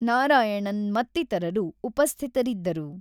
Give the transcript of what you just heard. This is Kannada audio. ನಾರಾಯಣನ್ ಮತ್ತಿತರರು ಉಪಸ್ಥಿತರಿದ್ದರು.